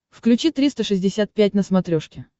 включи триста шестьдесят пять на смотрешке